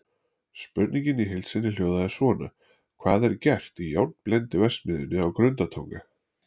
Spurningin í heild sinni hljóðaði svona: Hvað er gert í járnblendiverksmiðjunni á Grundartanga?